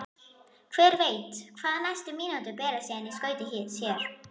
Hver veit hvað næstu mínútur bera síðan í skauti sér?